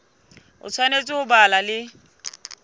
o tshwanetse ho ba le